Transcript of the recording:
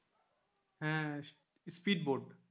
হ্যাঁ speed boat.